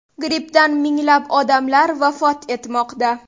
Grippdan minglab odamlar vafot etmoqda.